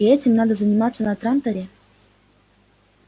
и этим надо заниматься на транторе